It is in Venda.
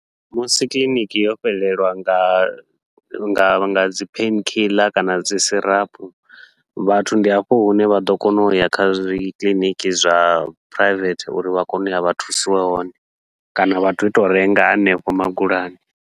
Musi kiḽiniki yo fhelelwa nga nga nga dzi pain kiḽa kana dzi sirapu, vhathu ndi hafho hune vha ḓo kona uya kha zwi kiḽiniki zwa phuraivethe uri vha kone uya vha thusiwe hone, kana vha tou tou renga hanefha magulani.